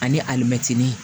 Ani alimɛtini